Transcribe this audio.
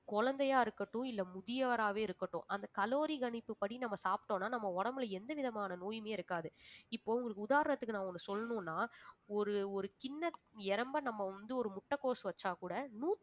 குழந்தையா இருக்கட்டும் இல்லை முதியவராவே இருக்கட்டும் அந்த calorie கணிப்புபடி நம்ம சாப்பிட்டோம்ன்னா நம்ம உடம்புல எந்த விதமான நோயுமே இருக்காது இப்போ உங்களுக்கு உதாரணத்துக்கு நான் ஒண்ணு சொல்லணும்னா ஒரு ஒரு நம்ம வந்து ஒரு முட்டைகோஸ் வச்சாக் கூட